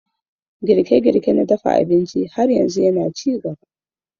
Girke-girke na dafa abinci har yanzu yana ci gaba.